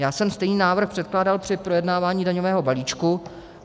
Já jsem stejný návrh předkládal při projednávání daňového balíčku.